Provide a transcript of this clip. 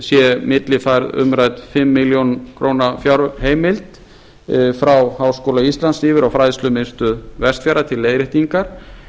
sé millifærð umrædd fimm milljónir króna fjárheimild frá háskóla íslands yfir á fræðslumiðstöð vestfjarða til leiðréttingar